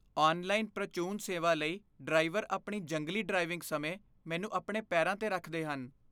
Online ਪ੍ਰਚੂਨ ਸੇਵਾ ਲਈ ਡਰਾਈਵਰ ਆਪਣੀ ਜੰਗਲੀ ਡ੍ਰਾਈਵਿੰਗ ਸਮੇਂ ਮੈਨੂੰ ਆਪਣੇ ਪੈਰਾਂ 'ਤੇ ਰੱਖਦੇ ਹਨ।